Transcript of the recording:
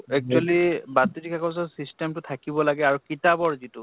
actually বাতৰি কাগ্জৰ system টো থাকিব লাগে আৰু কিতাপৰ যিটো